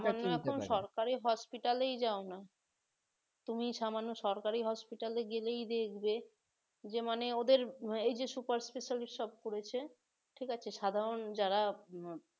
সরকারি hospital এই যাও না তুমি সামান্য সরকারি hospital এ গেলেই দেখবে যে মানে ওদের এই যে super specialist সব করেছে ঠিক আছে সাধারণ যারা